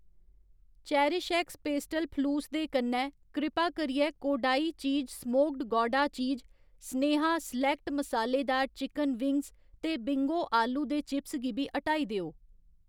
CherishX pastel फलूस दे कन्नै, कृपा करियै Kodai cheese smoked gouda cheese, Sneha select मसालेदार चिकन विंग्स ते बिंगो आलू दे चिप्स गी बी हटाई देओ।